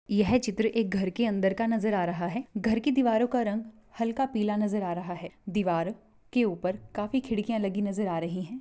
यह चित्र एक घर के अदर का नजर आ रहा है घर की दीवारो का रग हल्का पीला नजर आ रहा है दीवार के ऊपर काफी खिड़कियाँ लगी नजर आ रही है।